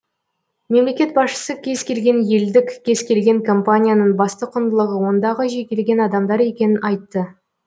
мемлекет басшысы кез келген елдік кез келген компанияның басты құныдылығы ондағы жекелеген адамдар екенін айтты